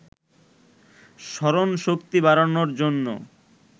স্মরণশক্তি বাড়ানোর জন্য